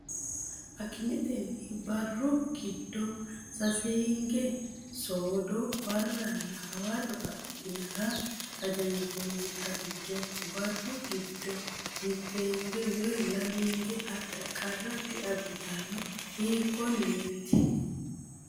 Akimetenni barru giddo saseenge soodo, barra nna hawarro adhinara hajanjoonni xagicho barru giddo mitteenge woy lameenge adha qarra diabbitanno, hiikkonneeti?